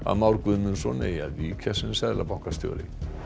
Már Guðmundsson eigi að víkja sem seðlabankastjóri